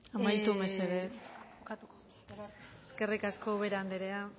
amaitu mesedez eskerrik asko ubera andrea